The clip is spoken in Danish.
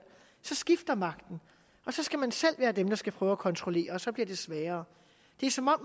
skifter magten og så skal man selv være dem der skal prøve at kontrollere og så bliver det sværere det er som om